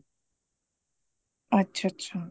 ਅੱਛਾ ਅੱਛਾ